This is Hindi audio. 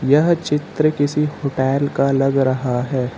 यह चित्र किसी होटैल का लग रहा है।